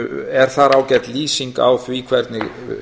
er þar ágæt lýsing á því hvernig